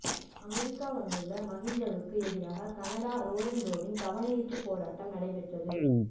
America வந்துள்ள மகிந்தவுக்கு எதிராக கனடா ரொறன்ரோவில் கவனயீர்ப்புப் போராட்டம் நடைபெற்றது